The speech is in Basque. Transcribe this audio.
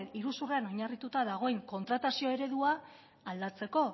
iruzurrean oinarrituta dagoen kontratazio eredua aldatzeko